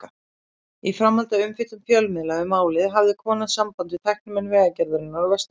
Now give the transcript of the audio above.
Í framhaldi af umfjöllun fjölmiðla um málið hafði kona samband við tæknimenn Vegagerðarinnar á Vesturlandi.